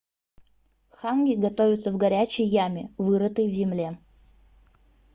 ханги готовится в горячей яме вырытой в земле